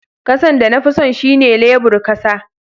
Kasan da na fi son shine lebur kasa.